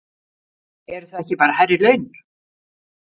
Eru það ekki bara hærri laun?